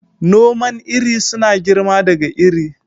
Noman iri suna girma daga iri.